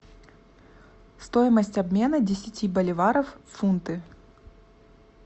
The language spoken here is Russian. стоимость обмена десяти боливаров в фунты